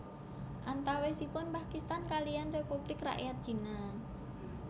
Antawisipun Pakistan kaliyan Republik Rakyat Cina